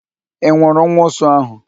Ị nwụrụ nwa ụsụ ahụ?